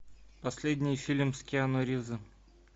последний фильм с киану ривзом